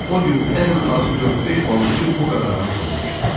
Bu gün ən az dörd-beş balıqçı bu qadağanı pozmuşdu.